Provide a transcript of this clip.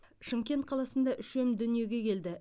шымкент қаласында үшем дүниеге келді